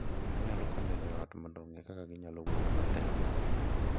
Onyalo konyo jo ot mondo ong’e kaka ginyalo wuoyo matek,